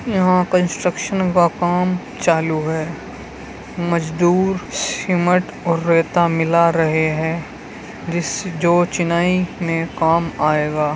यहाँ कंस्ट्रक्शन का काम चालु है मजदूर सीमेंट और रेता मिला रहें है जिस जो चुनाई में काम आएगा।